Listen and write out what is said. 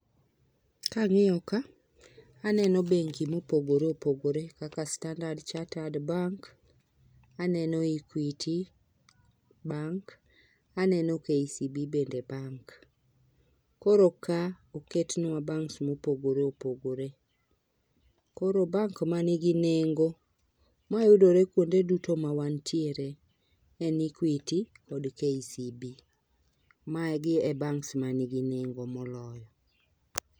Kang'iyo ka aneno bengi mopogore opogore kaka standard charted bank, aneno equity bank, aneno KCB bende bank. Koro ka oketwa banks mopogore opogore. Koro bank manigi nego mayudore kuonde duto ma wantiere en equity gi KCB, magi e banks manigi nengo moloyo.